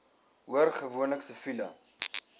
hoor gewoonlik siviele